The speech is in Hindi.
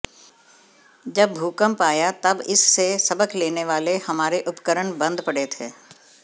जब भूकंप आया तब इससे सबक लेने वाले हमारे उपकरण बंद पड़े थे